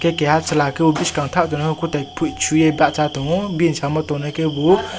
hingke keha chela kebo boskhango tang tongo nai kotai toi poi soe basa tango bini samo tongnai kebo.